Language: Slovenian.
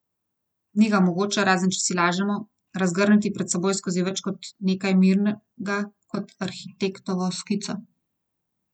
Ni ga mogoče, razen če si lažemo, razgrniti pred seboj skozi več let kot nekaj mirnega, kot arhitektovo skico.